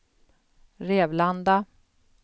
Rävlanda